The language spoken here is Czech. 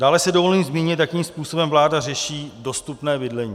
Dále si dovolím zmínit, jakým způsobem vláda řeší dostupné bydlení.